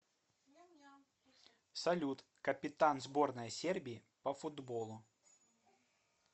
салют капитан сборная сербии по футболу